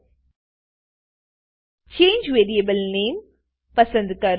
change variable નામે change variable name પસંદ કરો